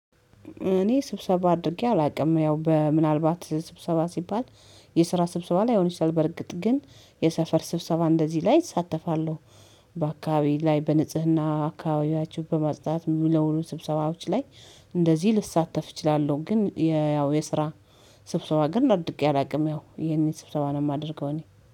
እኔ ስብሰባ አድርጌ አላውቅም። ያው በ ምናልባት ስብሰባ ሲባል የስራ ስብሰባ ላይሆን ይችላል በርግጥ፤ ግን የሰፈር ስብሰባ እንደዚህ ላይ እሳተፋለሁ። በአካባቢዬ ላይ በንጽህና አካባቢያችሁ በማጽዳት ሚለውሉ ስብሰባዎች ላይ እንደዚህ ልሳተፍ እችላለሁ። ግን ያው የስራ ስብሰባ ግን አድርጌ አላውቅም ያው ይሄንን ስብሰባ ነው የማደርገው እኔ።